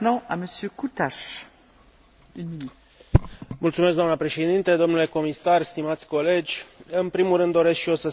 În primul rând doresc și eu să salut propunerile Comisiei Europene cu privire la revizuirea normelor de cooperare orizontală în domeniul concurenței.